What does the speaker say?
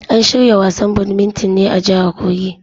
An shirya wasan badminton ne a jahar kogi.